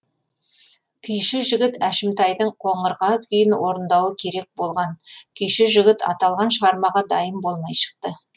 күйші жігіт әшімтайдың қоңыр қаз күйін орындауы керек болған күйші жігіт аталған шығармаға дайын болмай шықты